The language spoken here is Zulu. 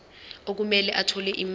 okumele athole imali